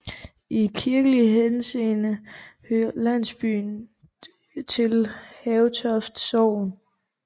I kirkelig henseende hører landsbyen til Havetoft Sogn